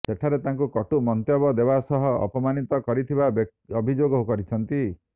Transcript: ସେଠାରେ ତାଙ୍କୁ କଟୁ ମନ୍ତବ୍ୟ ଦେବା ସହ ଅପମାନିତ କରିଥିବା ଅଭିଯୋଗ କରିଛନ୍ତି